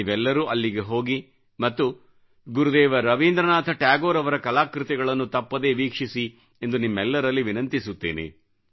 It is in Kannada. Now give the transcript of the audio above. ನೀವೆಲ್ಲರೂ ಅಲ್ಲಿಗೆ ಹೋಗಿ ಮತ್ತು ಗುರುದೇವ್ ರವಿಂದ್ರ ನಾಥ್ ಟ್ಯಾಗೋರ್ ಅವರ ಕಲಾಕೃತಿಗಳನ್ನು ತಪ್ಪದೇ ವೀಕ್ಷಿಸಿ ಎಂದು ನಿಮ್ಮೆಲ್ಲರಲ್ಲಿ ವಿನಂತಿಸುತ್ತೇನೆ